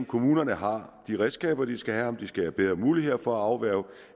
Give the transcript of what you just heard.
kommunerne har de redskaber de skal have og om de skal have bedre muligheder for at afværge